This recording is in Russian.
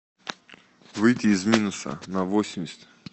выйти из минуса на восемьдесят